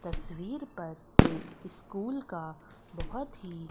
तस्वीर पर एक स्कूल का बहोत ही--